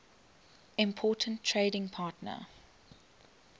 important trading partner